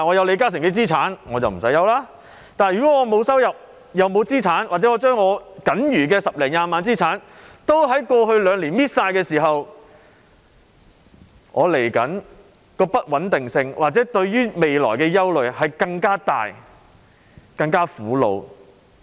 可是，如果我既沒有收入，又沒有資產，或我僅餘的十多二十萬元資產已在過去兩年耗盡，我面對的不穩定性，我對未來的憂慮便更大、更苦惱。